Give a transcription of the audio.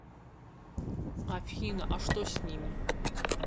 афина а что с ними